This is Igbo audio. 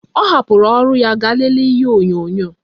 Ọ hapụrụ ọrụ ya gaa lelee ihe onyonyo